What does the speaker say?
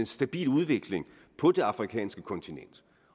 stabil udvikling på det afrikanske kontinent